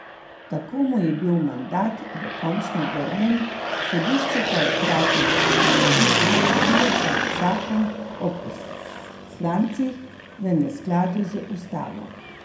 Tako mu je bil mandat dokončno vrnjen, sodišče pa je hkrati v odločbi ugotovilo, da je zakon o poslancih v neskladju z ustavo.